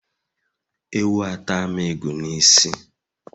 Ewu atam ịgụ n'isi